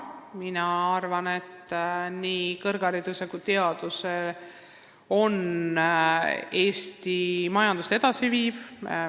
Mina arvan, et nii kõrgharidus kui teadus viivad Eesti majandust edasi.